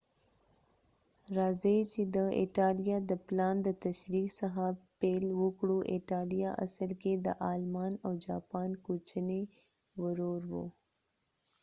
راځئ چې د ایټالیا د پلان د تشریح څخه پیل وکړو ایټالیا اصل کې د آلمان او جاپان کوچنی ورور و